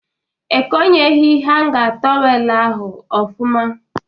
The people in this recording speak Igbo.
Ekonyeghị hanga tọwelu ahụ ọfụma